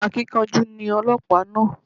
Akíkanjú ni ọlọ́pàá náà